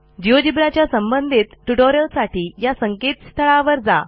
Geogebraच्या संबंधित ट्युटोरियल्ससाठी या संकेतस्थळावर जा